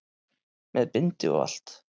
Með bindi og allt!